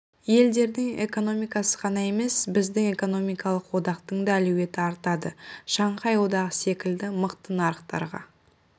елдердің экономикасы ғана емес біздің экономикалық одақтың да әлеуеті артады шанхай одағы секілді мықты нарықтарға